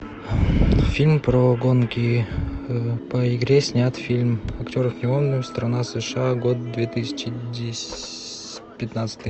фильм про гонки по игре снят фильм актеров не помню страна сша год две тысячи пятнадцатый